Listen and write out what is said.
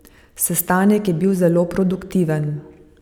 Sestanek je bil zelo produktiven.